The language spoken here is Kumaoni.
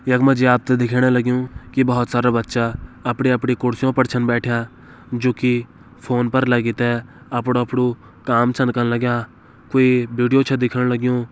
यक मजी आपते दिखेण लग्युं की बोहोत सारा बच्चा अपणी अपणी कुर्सियों पर छन बैठ्यां जु की फ़ोन पर लगी तै अपणु अपणु काम छन कन लग्यां क्वे बिडिओ छे दिखण लग्यूं।